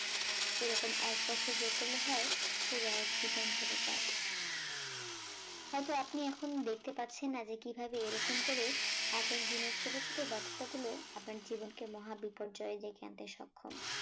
এরকম এক বছর যোগ করলে হয় পুরো এক জীবন চলে যায় হয়তো আপনি এখনো দেখতে পাচ্ছেন না যে কিভাবে এরকম করে এক এক দিনের ছোট ছোট ব্যর্থতা গুলো আপনার জীবনকে মহা বিপর্যয় ডেকে আনতে সক্ষম